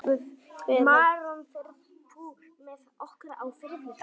Maron, ferð þú með okkur á þriðjudaginn?